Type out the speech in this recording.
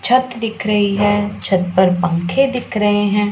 छत दिख रही है छत पर पंखे दिख रहे हैं।